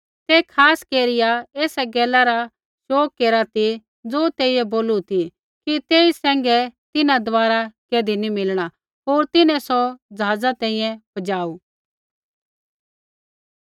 ते खास केरिया एसा गैला रा शोग केरा ती ज़ो तेइयै बोलू ती कि तेई सैंघै तिन्हां दबारा कैधी नी मिलणा होर तिन्हैं सौ ज़हाज़ा तैंईंयैं पजाऊ